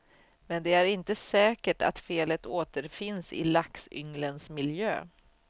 Men det är inte säkert att felet återfinns i laxynglens miljö.